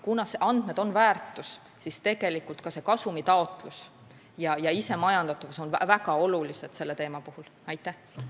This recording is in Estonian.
Kuna andmed on väärtus, siis on ka kasumi taotlemine ja isemajandatavus selle teema puhul väga olulised.